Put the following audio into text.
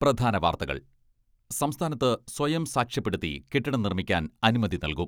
പ്രധാന വാർത്തകൾ സംസ്ഥാനത്ത് സ്വയം സാക്ഷ്യപ്പെടുത്തി കെട്ടിടം നിർമ്മിക്കാൻ അനുമതി നൽകും.